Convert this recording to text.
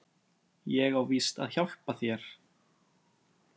Ég á víst að hjálpa þér.